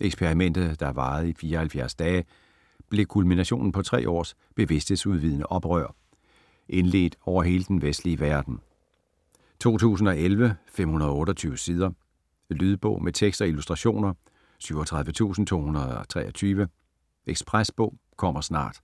Eksperimentet, der varede i 74 dage, blev kulminationen på tre års bevidsthedsudvidende oprør - indledt over hele den vestlige verden. 2011, 528 sider. Lydbog med tekst og illustrationer 37223 Ekspresbog - kommer snart